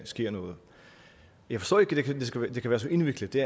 sker noget jeg forstår ikke at det kan være så indviklet det